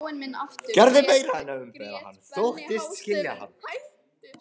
Gerði meira en að umbera hann: þóttist skilja hann.